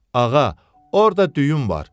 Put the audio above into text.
Ağa, orda düyüm var,